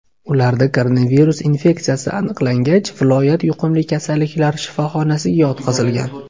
Ularda koronavirus infeksiyasi aniqlangach, viloyat yuqumli kasalliklar shifoxonasiga yotqizilgan.